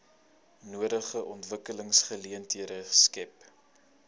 nodige ontwikkelingsgeleenthede skep